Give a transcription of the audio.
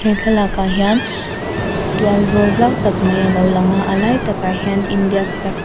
he thlalakah hian tual zawl zau tak mai a lo lang a a lai takah hian india flag --